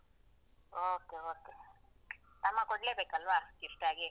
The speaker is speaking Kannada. Okay, okay. ತಮ್ಮ ಕೊಡ್ಲೇ ಬೇಕಲ್ವಾ gift ಆಗಿ?